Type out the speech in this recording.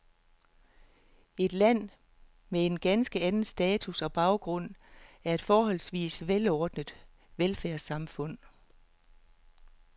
Et land med en ganske anden status og baggrund, et forholdsvis velordnet velfærdssamfund.